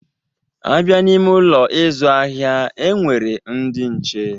A bịa n'ime Ụlọ ịzụ ahịa, e nwere ndị nche.